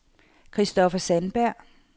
Christopher Sandberg